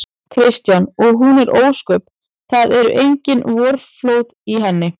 Kristján: Og hún er ósköp. það eru engin vorflóð í henni?